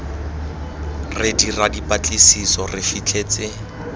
re dira dipatlisiso re fitlhetse